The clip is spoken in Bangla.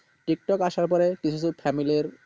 টিকটক আসার ফলে কিছু কিছু family রির